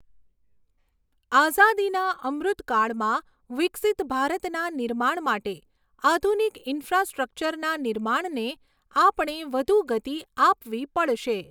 આઝાદીના અમૃતકાળમાં વિકસીત ભારતના નિર્માણ માટે આધુનિક ઇન્ફ્રાસ્ટ્રક્ચરના નિર્માણને આપણે વધુ ગતિ આપવી પડશે.